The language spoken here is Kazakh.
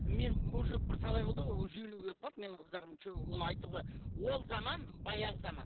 мен уже бірталай болды уже елуге келіп қалды менің қыздарым че оны айтуға ол заман баяғы заман